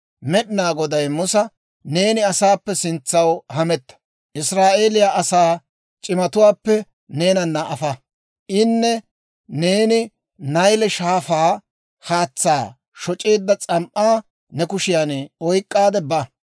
Med'inaa Goday Musa, «Neeni asaappe sintsaw hametta; Israa'eeliyaa asaa c'imatuwaappe neenana afa; ini neeni Nayle Shaafaa haatsaa shoc'eedda s'am"aa ne kushiyaan oyk'k'aadde ba.